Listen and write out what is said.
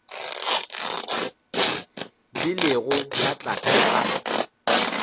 di lego ka tlase ga